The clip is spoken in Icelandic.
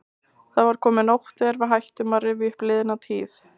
Það var komin nótt þegar við hættum að rifja upp liðna tíð.